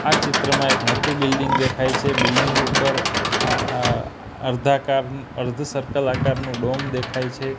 આ ચિત્રમાં એક મોટુ બિલ્ડિંગ દેખાય છે બિલ્ડિંગ ઉપર અર્ધુ સર્કલ આકારનુ ડોમ દેખાય છે.